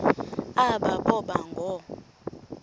aba boba ngoo